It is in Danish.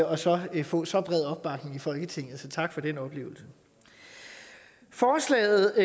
og så få så bred opbakning i folketinget så tak for den oplevelse forslaget